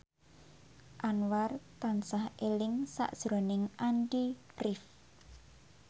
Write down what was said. Anwar tansah eling sakjroning Andy rif